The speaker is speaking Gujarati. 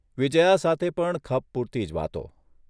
વિજ્યા સાથે પણ ખપ પૂરતી જ વાતો !